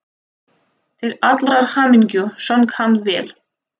Til allrar hamingju söng hann vel!